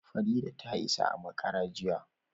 Farida ta isa a makara jiya